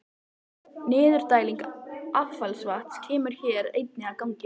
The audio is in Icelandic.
Niðurdæling affallsvatns kemur hér einnig að gagni.